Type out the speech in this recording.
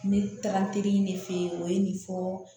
Ne taara n teri in ne fɛ yen o ye nin fɔ